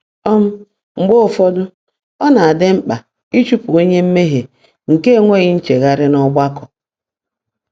um Mgbe ụfọdụ, ọ na-adị mkpa ịchụpụ onye mmehie nke enweghị nchegharị n’ọgbakọ.